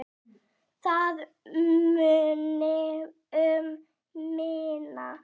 Það muni um minna.